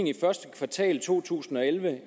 i første kvartal to tusind og elleve